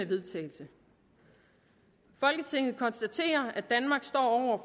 vedtagelse folketinget konstaterer at danmark står